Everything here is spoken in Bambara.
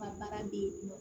Ka baara di yen nɔ